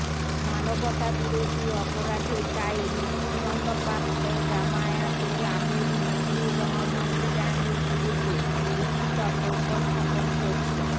মানবতাবিরোধী অপরাধের দায়ে মৃত্যুদন্ডপ্রাপ্ত জামায়াতের আমির মতিউর রহমান নিজামীর বিরুদ্ধে যুক্তিতর্ক উপস্থাপন করছে